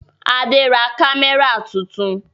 Adé ra kámẹ́rà tuntun.